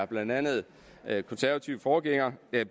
blandt andet er konservative forgængere har